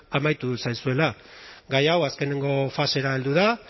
amaitu zaizuela gai hau azkeneko fasera heldu da